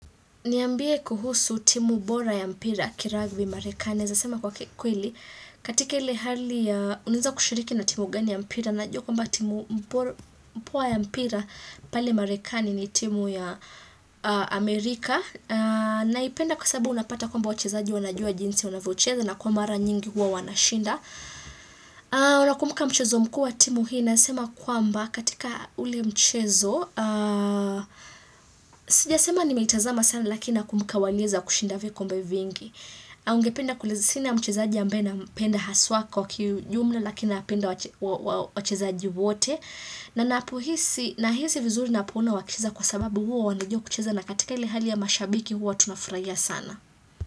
Niambie kuhusu timu bora ya mpira kiragbi marekani. Naezasema kwa kikweli, katika ile hali ya, unaeza kushiriki na timu gani ya mpira. Najua kwamba timu poa ya mpira pale marekani ni timu ya Amerika. Naipenda kwa sababu unapata kwamba wachizaji wanajua jinsi wanavyochezo na kwa mara nyingi huwa wanashinda. Unakumbuka mchezo mkuu wa timu hii. Nasema kwamba katika ule mchezo, sijasema nimeitazama sana lakina nakumbuka waliweza kushinda vikombe vingi. Au ningependa sina mchezaji ambaye nampenda haswa kwa kijumla lakini napenda wachezaji wote. Na ninapohisi, nahisi vizuri ninapoona wakicheza kwa sababu huwa wanajua kucheza na katika ile hali ya mashabiki huwa tunafurahia sana.